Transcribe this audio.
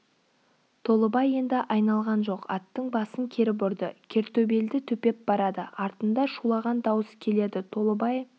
толыбай енді айналған жоқ аттың басын кері бұрды кертөбелді төпеп барады артында шулаған дауыс келеді толыбай